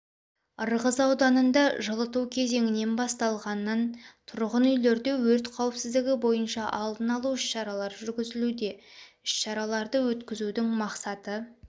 ырғыз ауданында жылыту кезеңінен басталғаннан тұрғын үйлерде өрт қауіпсіздігі бойынша алдын-алу іс-шаралар жүргізілуде іс-шараларды өткіздің мақсаты